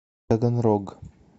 таганрог